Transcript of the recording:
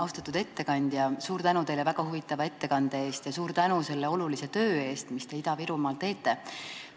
Austatud ettekandja, suur tänu teile väga huvitava ettekande eest ja suur tänu selle olulise töö eest, mis te Ida-Virumaal teete!